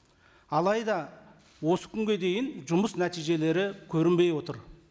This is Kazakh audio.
алайда осы күнге дейін жұмыс нәтижелері көрінбей отыр